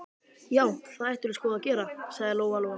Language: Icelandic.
Já, það ættirðu sko að gera, sagði Lóa Lóa.